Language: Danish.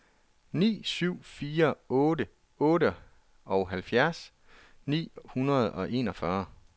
ni syv fire otte otteoghalvfjerds ni hundrede og enogfyrre